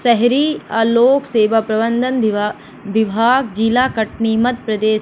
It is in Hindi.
शहरी अ लोक सेवा प्रबंधन विभा विभाग जिला कटनी मध्य प्रदेश--